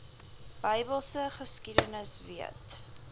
bybelse geskiedenis weet